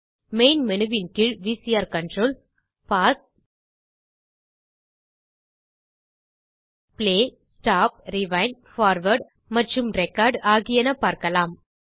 main menuவின் கீழ் VCR controls pause play stop rewind forward மற்றும் ரெக்கார்ட் ஆகியன பார்க்கலாம்